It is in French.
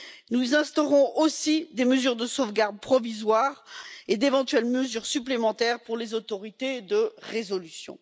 Nous instaurons aussi des mesures de sauvegarde provisoire et d'éventuelles mesures supplémentaires pour les autorités de résolution.